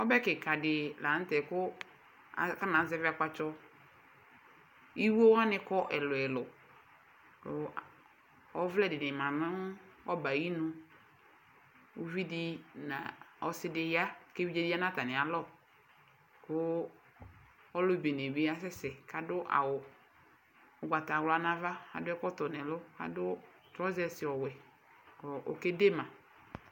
Ɔbɛ kikadi la nu tɛ ku alu afɔnazɛvi akpatsɔ iɣo wani kɔ ɛlu ɛlu ku ɔvlɛ di ma nu ɔbɛ ayinu uvidi nu ɔsidi ya ku evidze di ya nu atami alɔ ɔlubene dibi yanu ɛfɛ ku adu awu ugbatawla nu ava adu ɛkɔtɔ nu ɛlu trɔsɛs ɔwɛ ku okedema